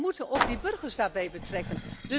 We moeten ook de burgers daarbij betrekken.